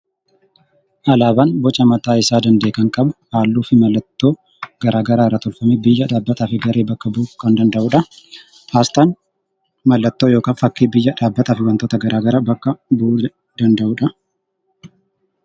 Alaabaan boca mataa isaa danda'e kan qabu; halluu fi mallattoo garaagaraa irraa tolfamee biyya, dhaabbataa fi garee bakka bu'uu kan danda'uu dha. Asxaan mallattoo (fakkii) biyya, dhaabbataa fi wantoota garaagaraa bakka bu'uu danda'uu dha.